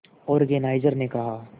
organiser ने कहा